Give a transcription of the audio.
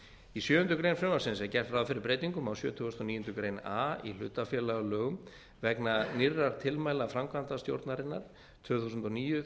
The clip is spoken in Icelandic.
í sjöundu greinar frumvarpsins er gert ráð fyrir breytingum á sjötugasta og níundu grein a í hlutafélagalögum vegna nýrra tilmæla framkvæmdastjórnarinnar tvö þúsund og níu þrjú